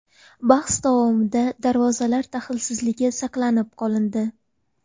Bahs davomida darvozalar daxlsizligi saqlanib qolindi.